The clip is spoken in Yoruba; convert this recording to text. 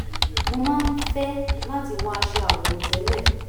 mo máa ń fẹ́ láti wọ aṣọ àwọ̀tẹ́lẹ̀